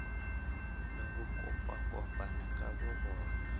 le ho kopakopana ka bobona